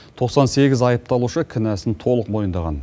тоқсан сегіз айыпталушы кінәсін толық мойындаған